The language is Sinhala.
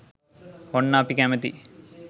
ඔන්න අපි කැමතියි